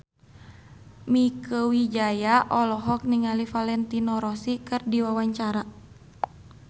Mieke Wijaya olohok ningali Valentino Rossi keur diwawancara